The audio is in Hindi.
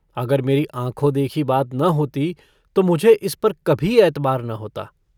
अगर मेरी आँखों देखी बात न होती तो मुझे इस पर कभी एतबार न होता।